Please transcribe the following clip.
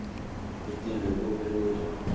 kwentiwa kube lula